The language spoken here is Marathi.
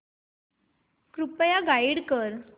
कृपया गाईड कर